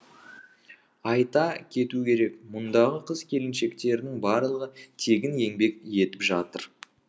айта кету керек мұндағы қыз келіншектердің барлығы тегін еңбек етіп жатыр